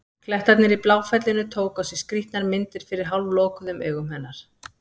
Klettarnir í Bláfellinu tóku á sig skrýtnar myndir fyrir hálflokuðum augum hennar.